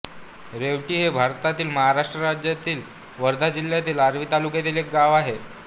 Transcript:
रेवटी हे भारतातील महाराष्ट्र राज्यातील वर्धा जिल्ह्यातील आर्वी तालुक्यातील एक गाव आहे